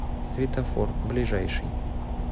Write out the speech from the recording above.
светофор ближайший